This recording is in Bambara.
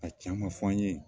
A can ma fɔ an ye